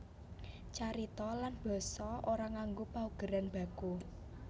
Carita lan basa ora nganggo paugeran baku